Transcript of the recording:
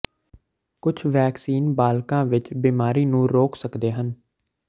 ਕੁਝ ਵੈਕਸੀਨ ਬਾਲਗਾਂ ਵਿੱਚ ਬਿਮਾਰੀ ਨੂੰ ਰੋਕ ਸਕਦੇ ਹਨ